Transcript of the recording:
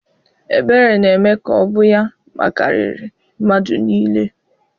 Ebere na-eme ka ọ bụ ya makariri mmadụ niile.